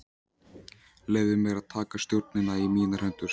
Leyfði mér að taka stjórnina í mínar hendur.